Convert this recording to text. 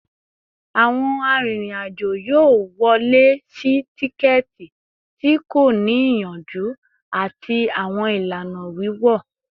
Awọn arinrin-ajo yoo wọle si tikẹti ti ko ni iyanju ati awọn ilana wiwọ